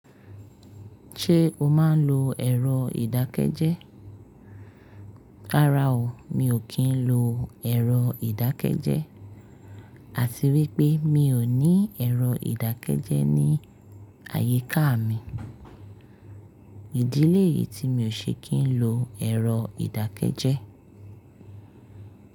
Ṣé o máa ń lo ẹ̀rọ ìdákẹ́jẹ́? Rárá o, mi ò kí ń lo ẹ̀rọ ìdákẹ́jẹ́. Àti wípé mi ò ní ẹ̀rọ ìdákẹ́jẹ́ ní àyíká mi. Ìdílé yìí tí mi ò ṣe kí ń lo ẹ̀rọ ìdákẹ́jẹ́.